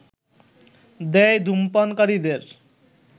দেয় ধূমপানকারীদের